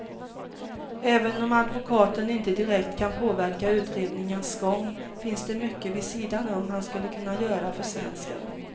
Även om advokaten inte direkt kan påverka utredningens gång finns det mycket vid sidan om han skulle kunna göra för svensken.